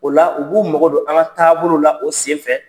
O la u b'u mago don an ka taabolow la o senfɛ.